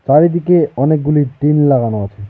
চারিদিকে অনেকগুলি টিন লাগানো আছে।